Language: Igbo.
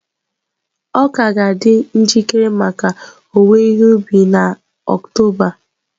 Ọka ga-adị njikere maka owuwe ihe ubi na Oktoba.